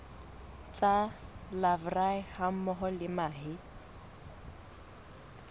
tsa larvae hammoho le mahe